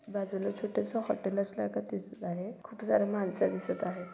बाजूला छोटसं हॉटेल असल्या क-दिसत आहे खूप सारे माणसं दिसत आहेत.